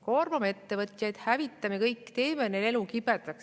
Koormame ettevõtjaid, hävitame kõik, teeme neil elu kibedaks.